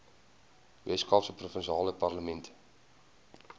weskaapse provinsiale parlement